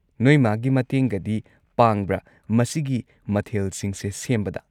ꯅꯣꯏ ꯃꯥꯒꯤ ꯃꯇꯦꯡꯒꯗꯤ ꯄꯥꯡꯕ꯭ꯔꯥ ꯃꯁꯤꯒꯤ ꯃꯊꯦꯜꯁꯤꯡꯁꯦ ꯁꯦꯝꯕꯗ?